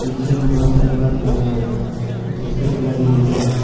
पीछे में बहोत सारा बस लगा हुआ है जिसका कलर येलो है।